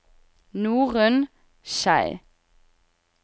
Norunn Schei